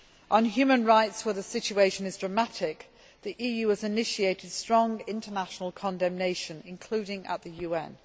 On human rights, where the situation is dramatic, the EU has initiated strong international condemnation, including at the UN.